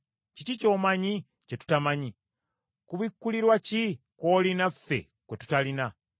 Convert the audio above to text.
Kiki ky’omanyi kye tutamanyi? Kubikkulirwa ki kw’olina ffe kwe tutalina?